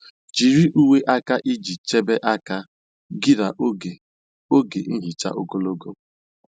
Jiri uwe aka iji um chebe aka um gị um n'oge oge nhicha ogologo.